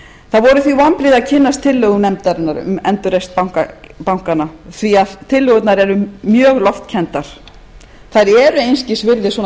það voru því vonbrigði að kynnast tillögum nefndarinnar um endurreisn bankanna því tillögurnar eru mjög loftkenndar þær eru einskis virði svona